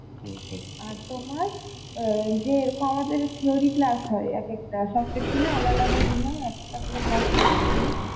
আর তোমার আঁ যে theory class হয় এক একটা সব section এর আলাদা আলাদা দিনের একটা করে class হচ্ছে theory